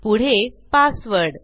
पुढे पासवर्ड